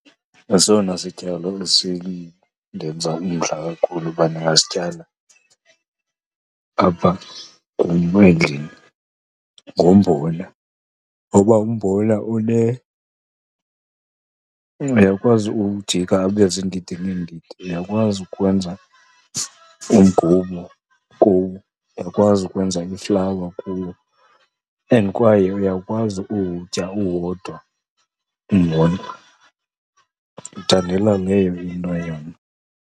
Esona sityalo esindenza umdla kakhulu uba ndingasityala apha kum endlini ngumbona, ngoba umbona uyakwazi uwujika ube ziindidi ngeendidi. Uyakwazi ukwenza umgubo kuwo, uyakwazi ukwenza iflawa kuwo and kwaye uyakwazi uwutya uwodwa umbona. Ndiwuthandela leyo into yona.